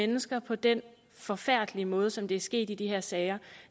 mennesker på den forfærdelige måde som det er sket i de her sager